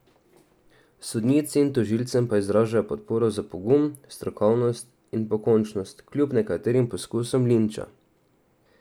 Sodnici in tožilcem pa izražajo podporo za pogum, strokovnost in pokončnost kljub nekaterim poskusom linča.